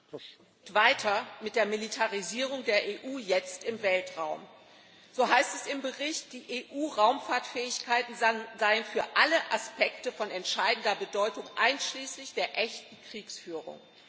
Herr Präsident! Weiter mit der Militarisierung der EU jetzt im Weltraum. So heißt es im Bericht, die EU Raumfahrtfähigkeiten seien für alle Aspekte von entscheidender Bedeutung, einschließlich der echten Kriegsführung.